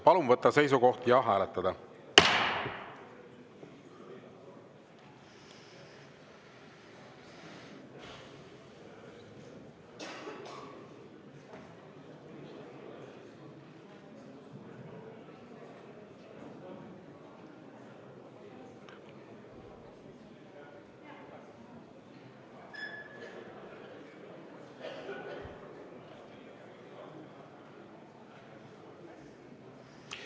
Palun võtta seisukoht ja hääletada!